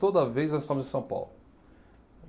Toda vez nós estávamos em São Paulo.